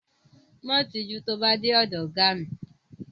Má tijú tó bá dé ọ̀dọ ọ̀gá mi.